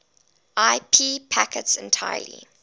ip packets entirely